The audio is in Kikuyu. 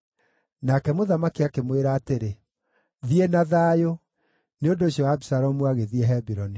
Nake mũthamaki akĩmwĩra atĩrĩ, “Thiĩ na thayũ.” Nĩ ũndũ ũcio Abisalomu agĩthiĩ Hebironi.